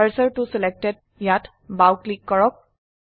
কাৰ্চৰ ত ছিলেক্টেড ত বাও ক্লিক কৰক